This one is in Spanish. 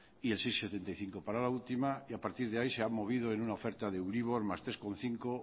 y el seis coma setenta y cinco para la última y a partir de ahí se ha movido en una oferta de euribor más tres coma cinco